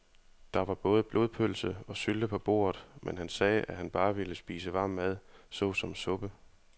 Der var både blodpølse og sylte på bordet, men han sagde, at han bare ville spise varm mad såsom suppe.